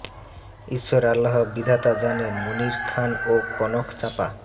ঈশ্বর আল্লাহ বিধাতা জানে মনির খান ও কনক চাঁপা